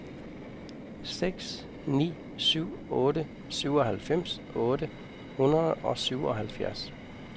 seks ni syv otte syvoghalvfems otte hundrede og syvoghalvfjerds